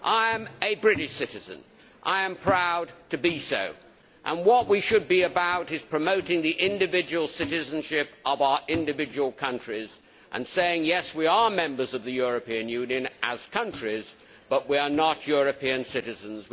I am a British citizen and am proud to be so, and what we should be about is promoting the individual citizenship of our individual countries and saying, yes, we are members of the European Union as countries, but we are not European citizens.